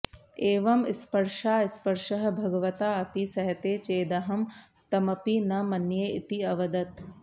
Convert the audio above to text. एवं स्पर्शास्पर्शः भगवताऽपि सहते चेदहं तमपि न मन्ये इति अवदत्